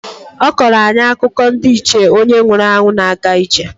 Ọ kọọrọ anyị akụkọ ndị Ichie onye nwụrụ anwụ na-aga ije.